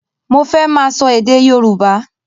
Mo fẹ́ máa sọ èdè Yorùbá.